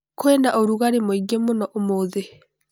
Kwĩna rũgarĩ mũingĩ mũno ũmũthĩ.